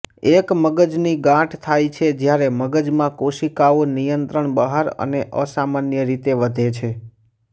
એક મગજની ગાંઠ થાય છે જ્યારે મગજમાં કોશિકાઓ નિયંત્રણ બહાર અને અસામાન્ય રીતે વધે છે